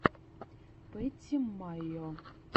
пэтти майо